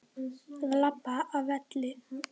Að labba af velli?